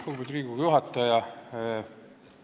Lugupeetud Riigikogu juhataja!